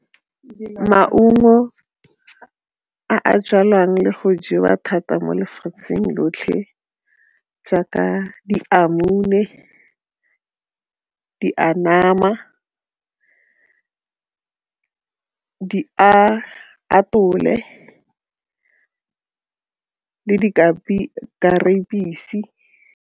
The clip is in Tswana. Maungo a a jalwang le go jewa thata mo lefatsheng lotlhe jaaka apole le .